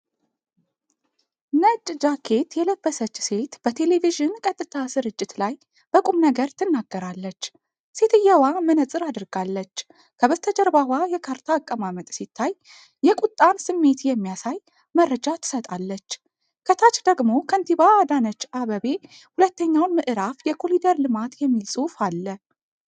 ነጭ ጃኬት የለበሰች ሴት በቴሌቪዥን ቀጥታ ስርጭት ላይ በቁምነገር ትናገራለች። ሴትየዋ መነፅር አድርጋለች፤ ከበስተጀርባዋ የካርታ አቀማመጥ ሲታይ የቁጣን ስሜት የሚያሳይ መረጃ ትሰጣለች። ከታች ደግሞ ከንቲባ አዳነች አበቤ ሁለተኛውን ምእራፍ የኮኒደር ልማት የሚል ጽሑፍ አለ።